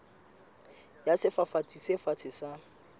ya sefafatsi se fatshe sa